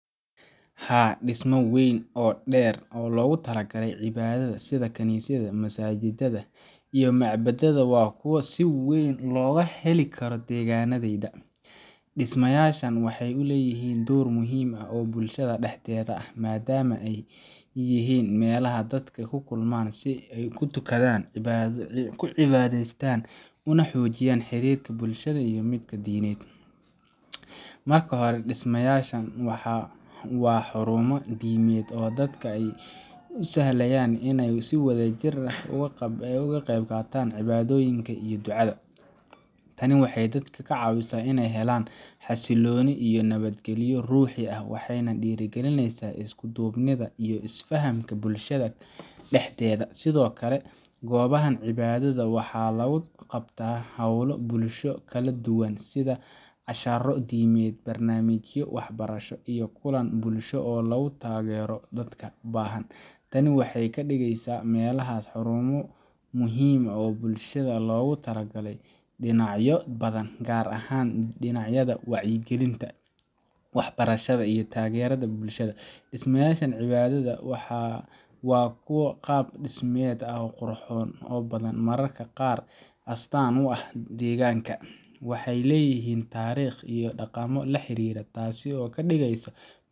Haa, dhismayaasha waaweyn ee loogu talagalay cibaadada sida kaniisadaha, masaajidada, iyo macbadada waa kuwo si weyn looga heli karo deegaannadayda. Dhismayaashan waxay leeyihiin door muhiim ah oo bulshada dhexdeeda ah, maadaama ay yihiin meelaha dadka ku kulmaan si ay u tukadaan, u cibaadeystaan, una xoojiyaan xiriirka bulshada iyo midka diimeed. Marka hore, dhismayaashan waa xarumo diimeed oo dadka u sahlaya inay si wadajir ah uga qaybqataan cibaadooyinka iyo ducada. Tani waxay dadka ka caawisaa inay helaan xasilooni iyo nabadgelyo ruuxi ah, waxayna dhiirrigelisaa isku duubnida iyo isfahamka bulshada dhexdeeda. Sidoo kale, goobahan cibaadada waxaa lagu qabtaa hawlo bulsho oo kala duwan sida casharro diimeed, barnaamijyo waxbarasho, iyo kulan bulsho oo lagu taageero dadka baahan. Tani waxay ka dhigaysaa meelahaas xarumo muhiim ah oo bulshada loogu adeegayo dhinacyo badan, gaar ahaan dhinacyada wacyigelinta, waxbarashada, iyo taageerada bulshada. Dhismayaasha cibaadada waa kuwo qaab dhismeed ahaan qurux badan oo mararka qaarkood astaan u ah deegaanka. Waxay leeyihiin taariikh iyo dhaqamo la xiriira, taas oo ka dhigaysa